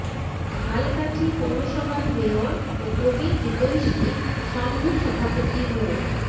ঝালকাঠি পৌরসভার মেয়র ও প্রবীণ হিতৈষী সংঘের সভাপতি মো